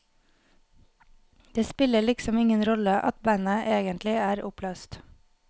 Det spiller liksom ingen rolle at bandet egentlig er oppløst.